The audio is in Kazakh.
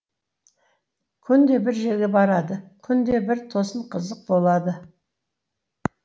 күнде бір жерге барады күнде бір тосын қызық болады